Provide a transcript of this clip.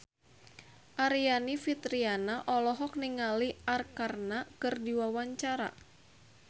Aryani Fitriana olohok ningali Arkarna keur diwawancara